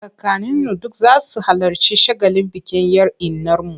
Kakanninu duk za su halarci shagalin bikin 'yar innarmu.